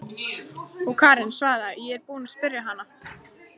Og Karen svaraði: Ég er búin að spyrja hana.